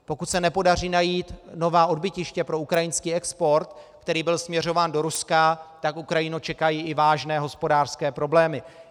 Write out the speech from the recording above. Pokud se nepodaří najít nová odbytiště pro ukrajinský export, který byl směřován do Ruska, tak Ukrajinu čekají i vážné hospodářské problémy.